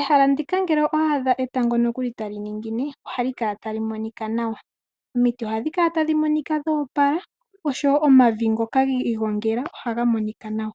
Ehala ndika ngele owa adha etango nokuli tali ningine ohali kala tali monika nawa. Omiti ohadhi kala tadhi monika dho opala oshowo omavi ngoka gi igongela ohaga monika nawa.